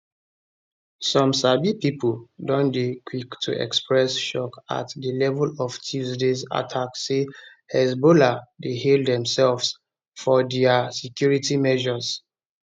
some sabi pipo don dey quick to express shock at di level of tuesdays attack say hezbollah dey hail demsefs for dia security measures